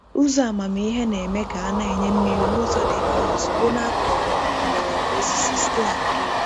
Ụzọ amamihe na-eme ka a na-enye mmiri n'ụzọ dị mfe ozugbo n’akọrọ mgbọrọgwụ osisi site na drip.